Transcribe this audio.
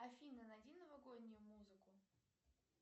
афина найди новогоднюю музыку